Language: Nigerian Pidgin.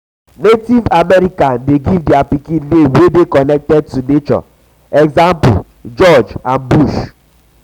native american de um give their pikin name wey de connected to nature e.g. george um bush